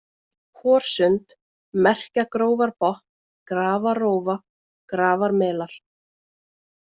Horsund, Merkjagrófarbotn, Grafarrófa, Grafarmelar